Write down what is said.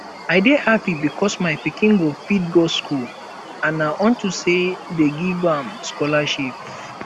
i dey happy because my pikin go fit go school and na unto say dey give am scholarship